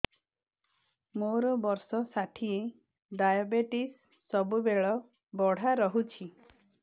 ମୋର ବର୍ଷ ଷାଠିଏ ଡାଏବେଟିସ ସବୁବେଳ ବଢ଼ା ରହୁଛି